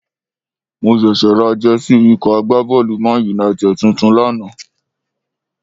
Mo ṣẹ̀ṣẹ̀ ra Jẹ́sí ikọ̀ agbábọ́ọ̀lù ManUnited tuntun lánàá